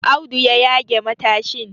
Audu ya yage matashin